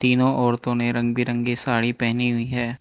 इन औरतों ने रंग बिरंगी साड़ी पहनी हुई है।